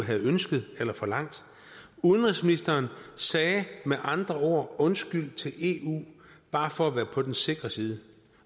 havde ønsket eller forlangt udenrigsministeren sagde med andre ord undskyld til eu bare for at være på den sikre side